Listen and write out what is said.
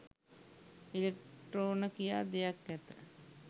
ඉලෙක්ට්‍රෝන කියා දෙයක් ඇත